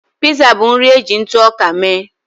Piza bụ nri e ji ntụ ọka mee